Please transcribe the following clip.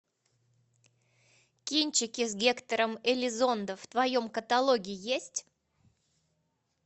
кинчики с гектором элизондо в твоем каталоге есть